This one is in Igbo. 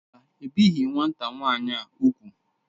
Mba, ebighị nwata nwaanyị ahụ úgwù.